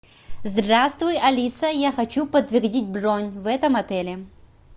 здравствуй алиса я хочу подтвердить бронь в этом отеле